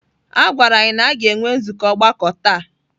A gwara anyị na a ga-enwe nzukọ ọgbakọ taa.